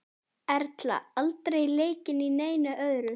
Erla: Aldrei leikið í neinu öðru?